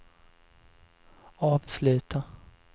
avsluta